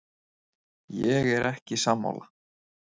Ég er ekki sammála.